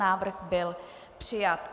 Návrh byl přijat.